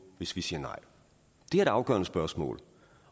hvis vi sagde nej det er det afgørende spørgsmål